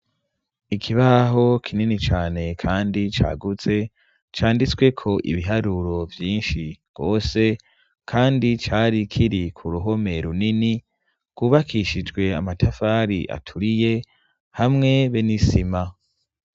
Ikibaho kinini cane kandi cagutse canditsweko ibiharuro vyinshi rwose kandi cari kiri ku ruhome runini rwubakishijwe amatafari aturiye hamwe be n'isima.